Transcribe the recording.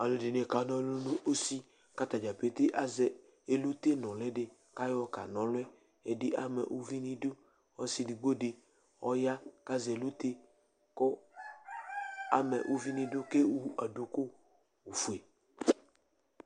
ɔlɔdini ka na ɔlu nu udu, ku ata dza pete asɛ elute nuli di , kayɔ ka na ɔlu yɛ , ɛdi ama uvi nu idu, ɔsi edigbo di ɔya ku asɛ elute ku ama uvi nu idu ku ewu duku fue